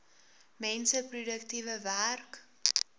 mense produktiewe werk